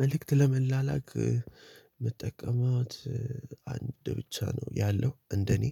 መልእክት ለመላላክ መጠቀማት አንድ ብቻ ነው ያለው እንደኔ